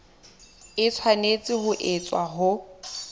e tshwanetse ho etswa ho